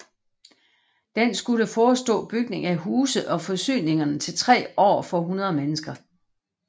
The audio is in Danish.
Den skulle forestå bygning af huse og forsyningerne til tre år for 100 mennesker